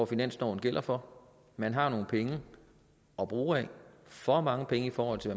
finansloven gælder for man har nogle penge at bruge af for mange penge i forhold til